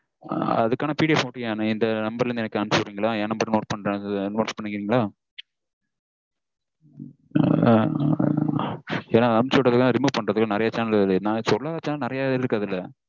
அதுக்கான PDF இந்த number இருந்து எனக்கு அனுப்பிச்சு விடுறீங்களா? என் number note பண்ற note பண்ணிக்கிறீங்களா? ஏன்னா அனுப்பிச்சு விட்டதெல்லாம் remove பண்றதுக்கு நெறைய channel வருது. நா சொல்லாத channel நெறையவே இருக்கு அதுல.